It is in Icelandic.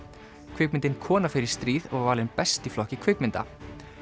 kvikmyndin kona fer í stríð var valin best í flokki kvikmynda